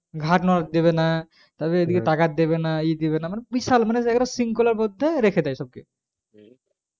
ঘাড় নাড়াতে দেবেনা তারপরে এই দিকে তাকাতে দেবে না ই দিবেনা মানে বিশাল মানে জায়গাটা শৃংখলার মধ্যে রেখে দেয় সবকে